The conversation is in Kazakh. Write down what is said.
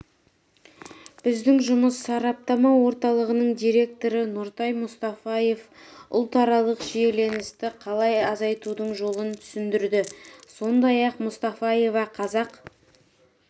біздің жұмыс сараптама орталығының директоры нұртай мұстафаев ұлтаралық шиеленісті қалай азайтудың жолын түсіндірді сондай-ақ мұстафаева қазақ